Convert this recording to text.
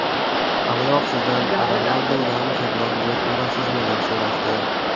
Avvalroq sizdan Ronaldudan ko‘proq gol urasizmi, deb so‘rashdi.